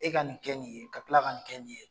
E ka nin kɛ nin ye, ka tila ka nin kɛ nin ye.